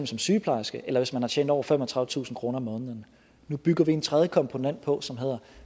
som sygeplejerske eller hvis man har tjent over femogtredivetusind kroner om måneden nu bygger vi en tredje komponent på som hedder